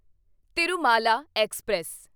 Tirumala express